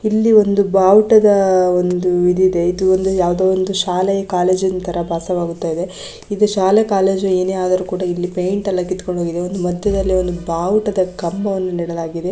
ಇಲ್ಲಿ ಒಂದು ಬಾವುಟದ ಒಂದು ಈದ್ ಇದೆ ಇದು ಒಂದು ಯಾವುದೋ ಶಾಲೆಯ ಕಾಲೇಜಿನ ತರ ಇದು ಶಾಲೆ ಕಾಲೇಜು ಏನೇ ಆದರೂ ಕೂಡ ಇಲ್ಲಿ ಪೇಂಟ್ ಎಲ್ಲ ಕಿತ್ತುಕೊಂಡು ಹೋಗಿದೆ ಮಧ್ಯದಲ್ಲಿ ಬಾವುಟದ ಕಂಬವನ್ನು ನೆಡಲಾಗಿದೆ.